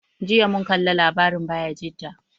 Jiya mun kalla labarin Bayajida.